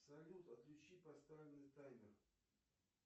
салют отключи поставленный таймер